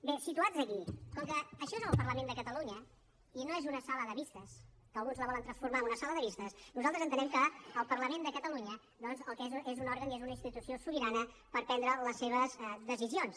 bé situats aquí com que això és el parlament de catalunya i no és una sala de vistes que alguns la volen transformar en una sala de vistes nosaltres entenem que el parlament de catalunya doncs el que és és un òrgan i és una institució sobirana per prendre les seves decisions